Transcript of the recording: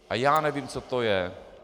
A já nevím, co to je.